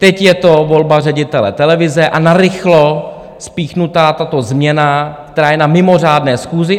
Teď je to volba ředitele televize a narychlo spíchnutá tato změna, která je na mimořádné schůzi.